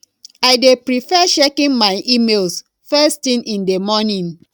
i dey prefer checking my emails first thing in the morning